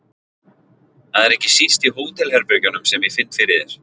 Það er ekki síst í hótelherbergjum sem ég finn fyrir þér.